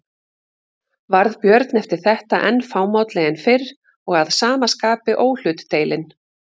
Varð Björn eftir þetta enn fámálli en fyrr og að sama skapi óhlutdeilinn.